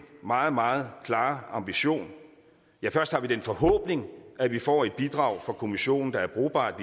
meget meget klare ambition ja først har vi den forhåbning at vi får et bidrag fra kommissionen der er brugbart